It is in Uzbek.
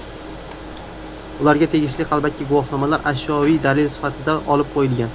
Ularga tegishli qalbaki guvohnomalar ashyoviy dalil sifatida olib qo‘yilgan.